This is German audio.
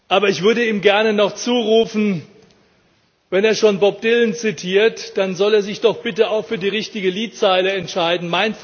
Aber ich würde ihm gerne noch zurufen Wenn er schon Bob Dylan zitiert, dann soll er sich doch bitte auch für die richtige Liedzeile entschieden.